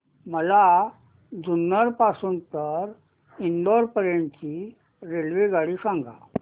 मला जुन्नर पासून तर इंदापूर पर्यंत ची रेल्वेगाडी सांगा